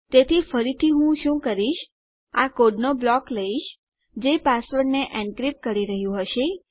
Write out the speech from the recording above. તેથી ફરીથી હું શું કરીશ આ કોડનો બ્લોક લઈશ જે પાસવર્ડને એનક્રીપ્ટ કરી રહ્યું હશે